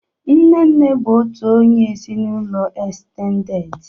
Nne nne bụ onye òtù ezinụlọ estendedị.